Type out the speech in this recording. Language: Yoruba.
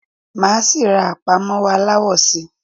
Máa síí rá àpámọ́wọ́ aláwọ síí